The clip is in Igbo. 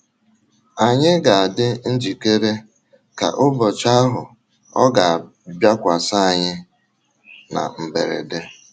Ànyị ga - adị njikere,, ka ụbọchị ahụ ọ̀ ga - abịakwasị anyị na mberede?